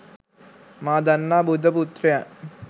මා දන්නා බුද්ධ පුත්‍රයන්